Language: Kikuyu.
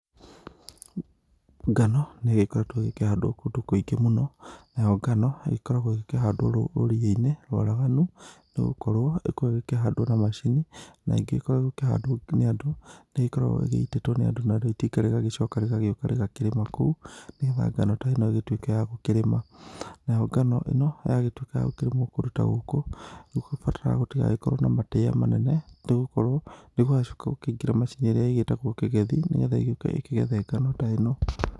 Ngano nĩgĩkoretwo ĩkĩhandwo kũndũ kũingi mũno. Nayo ngano ikoragwo ĩkĩhandwo rũriĩinĩ rũaraganu nĩ gũkorwo ĩkoragwo ĩkĩhandwo na macini. Na ĩngĩ ĩgakorwo ĩkĩhandwo nĩ andũ, ĩgĩkoragwo ĩgĩitĩtwo nĩ andũ narĩo itinga rĩgagĩcoka rĩgoka rĩgakĩrĩma kũu nĩ getha ngano ta ĩno ĩgĩtuĩke ya gũkĩrĩmwo, nayo ngano ĩno yagĩtuĩka ya gũkĩrĩmwo kũndũ ta gũkũ nĩkũbataraga gũtigagĩkorwo na matĩa manene nĩ gũkorwo nĩgũgacoka gũkĩingĩre macini ĩrĩa ĩtagwo kĩgethi nĩ getha ĩgĩũke ĩkĩgethe ngano ta ĩno.